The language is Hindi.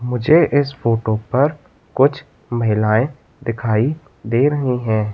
मुझे इस फोटो पर कुछ महिलाएं दिखाई दे रहे हैं।